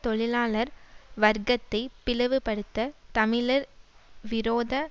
தொழிலாளர் வர்க்கத்தை பிளவுபடுத்த தமிழர் விரோத